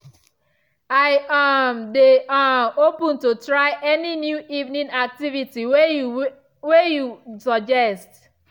i um dey um open to try any new evening activity way you way you suggest.